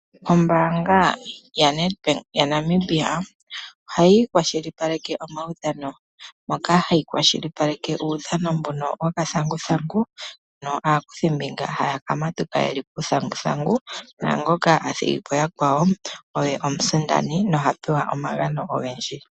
Ombaanga yaNedbank yaNamibia ohayi kwashilipaleke omaudhano, moka hayi kwashilipaleke uudhano mbono wokathanguthangu mono aakuthi mbinga haya ka matuka yeli kuuthanguthangu naangoka a thigi po yakwawo oye omusindani noha pewa omagano ogendji.